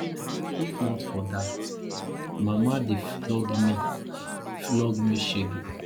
if not for dat mama dey for flog me flog me shege